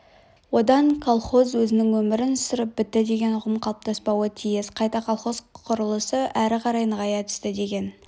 одан колхоз өзінің өмірін сүріп бітті деген ұғым қалыптаспауы тиіс қайта колхоз құрылысы әрі қарай нығая түсті деген